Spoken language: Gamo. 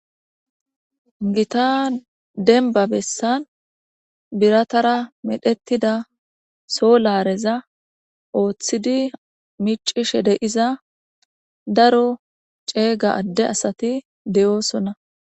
gita denba bessan biratara medhetida solareza ooththidi micishe deiza daro ceega adde asati de7oosonna